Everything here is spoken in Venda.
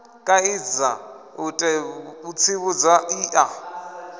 kaidza u tsivhudza i a